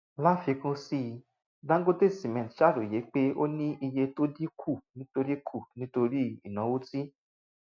láfikún sí i dangote cement ṣàròyé pé ó ní iye tó dín kù nítorí kù nítorí ìnáwó tí